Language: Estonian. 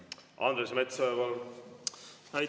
Andres Metsoja, palun!